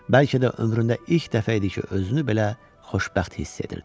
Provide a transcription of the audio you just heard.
Bəlkə də ömründə ilk dəfə idi ki, özünü belə xoşbəxt hiss edirdi.